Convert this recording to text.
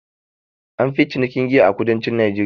An fi cinikin giya a kudancin najeriya